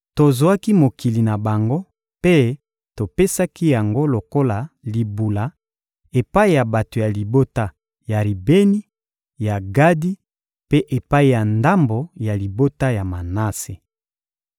Tozwaki mokili na bango mpe topesaki yango lokola libula epai ya bato ya libota ya Ribeni, ya Gadi mpe epai ya ndambo ya libota ya Manase.